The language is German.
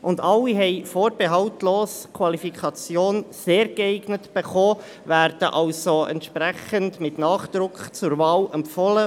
Alle haben vorbehaltslos die Qualifikation «sehr geeignet» erhalten, werden also vom Ausschuss IV entsprechend mit Nachdruck zur Wahl empfohlen.